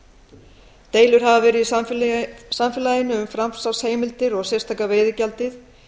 kostnaðargreiðsla deilur hafa verið í samfélaginu um framsalsheimildir og sérstaka veiðigjaldið